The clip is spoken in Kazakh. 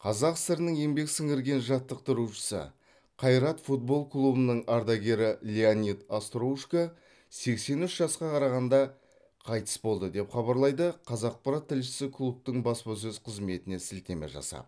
қазақ сср інің еңбек сіңірген жаттықтырушысы қайрат футбол клубының ардагері леонид остроушко сексен үш жасқа қарағанда қайтыс болды деп хабарлайды қазақпарат тілшісі клубтың баспасөз қызметіне сілтеме жасап